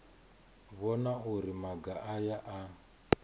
vhona uri maga aya a